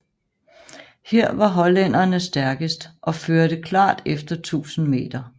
Her var hollænderne stærkest og førte klart efter 1000 m